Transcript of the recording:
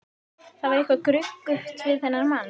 Það var eitthvað gruggugt við þennan mann.